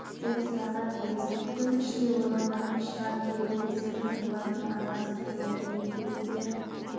деп сұраған емес мүмкін іштей ойланатын шығар керек десеңіз олардың анасы кім екенін біз де